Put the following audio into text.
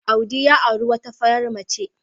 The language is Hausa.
Audi ya auri wata farar mace.